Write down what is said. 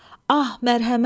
Ah, mərhəmət!